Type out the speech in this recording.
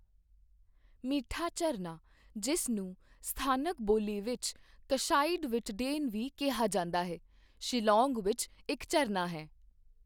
ਮਿੱਠਾ ਝਰਨਾ, ਜਿਸ ਨੂੰ ਸਥਾਨਕ ਬੋਲੀ ਵਿੱਚ ਕਸ਼ਾਇਡ ਵੀਟਡੇਨ ਵੀ ਕਿਹਾ ਜਾਂਦਾ ਹੈ, ਸ਼ਿਲੌਂਗ ਵਿੱਚ ਇੱਕ ਝਰਨਾ ਹੈ।